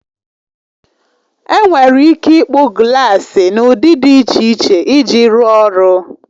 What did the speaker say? Enwere ike ịkpụ glaasi n'ụdị dị iche iche iji rụọ ọrụ.